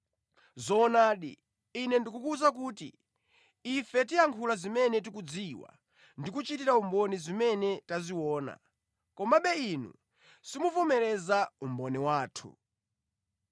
Zoonadi, Ine ndikukuwuza kuti ife tiyankhula zimene tikuzidziwa ndi kuchitira umboni zimene taziona, komabe inu simuvomereza umboni wathu.